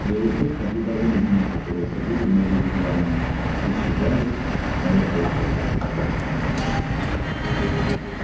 белый клык наблюдал за людьми которые ходили между вигвамами исчезали и снова появлялись